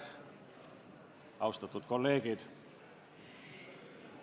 Austatud kolleegid!